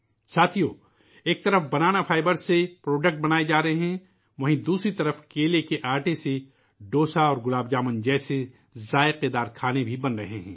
ساتھیو، ایک طرف بنانا فائبر سے سامان بنایا جارہا ہے ، وہیں دوسری طرف کیلے کے آٹے سے ڈوسا اور گلاب جامن جیسے مزیدار کھانے بھی بن رہے ہیں